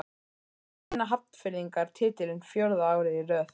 Vinna Hafnfirðingar titilinn fjórða árið í röð?